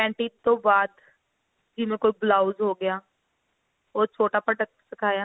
panties ਤੋਂ ਬਾਅਦ ਜਿਵੇਂ ਕੋਈ blouse ਹੋ ਗਿਆ ਉਹ ਛੋਟਾ product ਸਿਖਾਇਆ